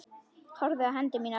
Horfði á hendur mínar.